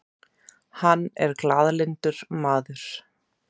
Hann er glaðlyndur maður.